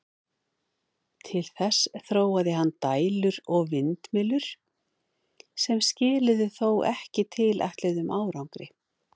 Til þess þróaði hann dælur og vindmyllur, sem skiluðu þó ekki tilætluðum árangri.